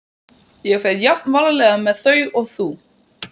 Ég fer jafn varlega með þau og þú.